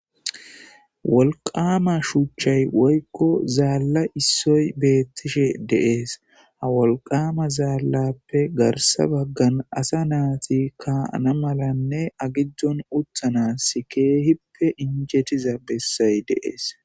wolqama shuuchchay woykko zaalla issoy beettishe de7es ha wolqama zaallappe garsa baggan asa naati kaana malanne agiddon uttanasi keehippe injetiza bessay de7es